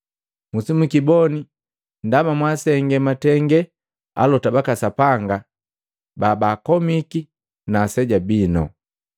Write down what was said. Musimukiboni, ndaba mwasenge matenge alota baka Sapanga babakomika na aseja bino.